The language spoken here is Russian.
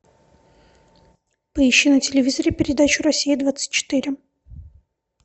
поищи на телевизоре передачу россия двадцать четыре